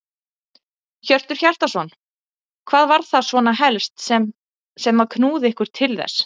Hjörtur Hjartarson: Hvað var það svona helst sem að knúði ykkur til þess?